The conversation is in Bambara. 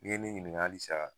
Ni ye ne ɲininka hali sa